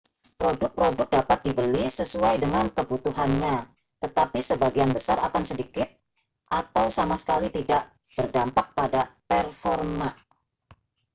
produk-produk dapat dibeli sesuai dengan kebutuhannya tetapi sebagian besar akan sedikit atau sama sekali tidak berdampak pada performa